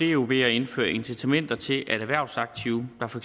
jo ved at indføre incitamenter til at erhvervsaktive der for